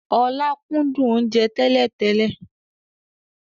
Ọlá kúndùn oúnjẹ tẹ́lẹ̀ tẹ́lẹ̀